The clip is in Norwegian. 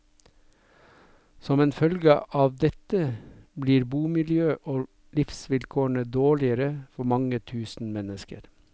Som en følge av dette blir bomiljøet og livsvilkårene dårligere for mange tusen mennesker.